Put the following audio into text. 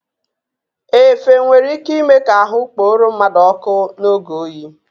Efe nwere ị́ké ịme ka ahụ kporo mmadụ ọ́kụ́ n'oge oyi.